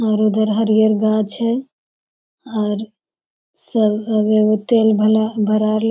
और इधर हरियर गाछ है और सब तेल भला भरा --